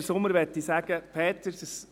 Peter Sommer möchte ich sagen: